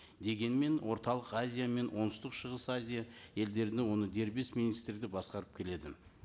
дегенмен орталық азия мен оңтүстік шығыс азия елдеріне оны дербес министрі де басқарып келеді